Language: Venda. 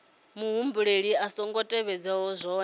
muhumbeli a songo tevhedza zwohe